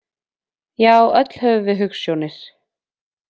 Já, öll höfum við hugsjónir.